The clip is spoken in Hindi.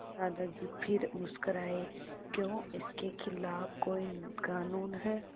दादाजी फिर मुस्कराए क्यों इसके खिलाफ़ कोई कानून है